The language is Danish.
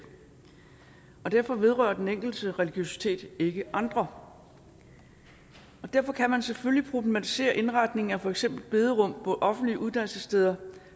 og derfor vedrører den enkeltes religiøsitet ikke andre og derfor kan man selvfølgelig problematisere indretning af for eksempel bederum på offentlige uddannelsessteder